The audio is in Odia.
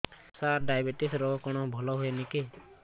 ସାର ଡାଏବେଟିସ ରୋଗ କଣ ଭଲ ହୁଏନି କି